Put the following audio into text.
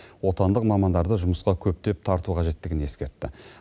отандық мамандарды жұмысқа көптеп тарту қажеттігін ескертті